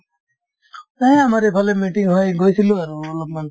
এই আমাৰ এইফালে meeting হয় গৈছিলো আৰু অলপমান